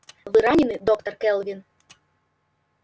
вы ранены доктор кэлвин